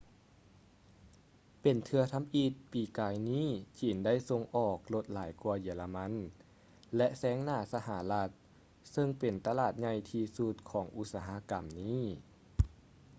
ເປັນເທື່ອທຳອິດປີກາຍນີ້ຈີນໄດ້ສົ່ງອອກລົດຫຼາຍກ່ວາເຢຍລະມັນ ແລະ ແຊງໜ້າສະຫະລັດເຊິ່ງເປັນຕະຫຼາດໃຫຍ່ທີ່ສຸດຂອງອຸດສາຫະກຳນີ້